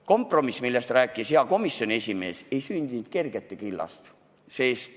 Kompromiss, millest rääkis hea komisjoni esimees, ei sündinud kergelt.